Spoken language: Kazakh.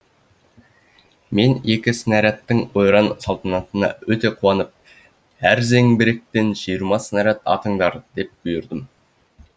мен екі снарядтың ойран өте қуанып әр зеңбіректен жиырма снарядтан атыңдар деп бұйырдым